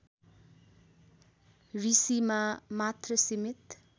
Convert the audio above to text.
ऋषिमा मात्र सीमित